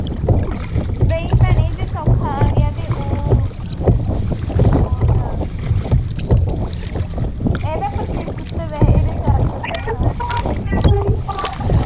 ਨਹੀਂ ਭੈਣੇ ਜੇ ਸੌਖਾ ਆ ਗਿਆ ਤੇ ਉਹ ਉਹਦਾ ਇਹਦਾ ਆ ਇਹਦੇ ਚਾਰ ਸੌ ਰੁਪਏ ਵਾ